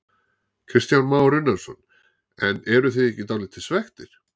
Kristján Már Unnarsson: En eruð þið ekki dálítið svekktir?